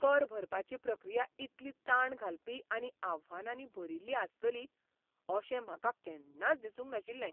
कर भरपाची प्रक्रिया इतली ताण घालपी आनी आव्हानांनी भरिल्ली आसतली अशें म्हाका केन्नाच दिसूंक नाशिल्लें.